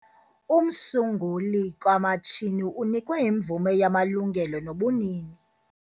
Umsunguli kamatshini unikwe imvume yamalungelo nobunini.